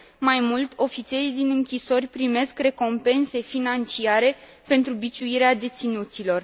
Mai mult, ofițerii din închisori primesc recompense financiare pentru biciuirea deținuților.